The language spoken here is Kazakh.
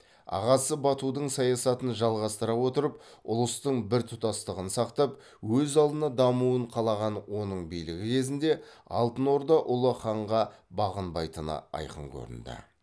ағасы батудың саясатын жалғастыра отырып ұлыстың біртұтастығын сақтап өз алдына дамуын қалаған оның билігі кезінде алтынорда ұлы ханға бағынбайтыны айқын көрінді